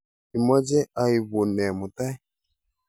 Imache aipun nee mutai?